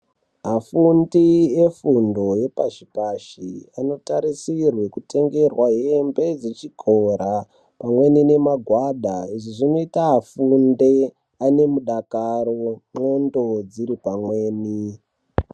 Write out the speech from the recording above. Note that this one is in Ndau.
Afundi efundo yepashi-pashi anotarisirwe kutengerwe hembe dzechikora pamweni nemagwana izvi zvinoita afunde ane mudakaro ndxondo dziri pamweni.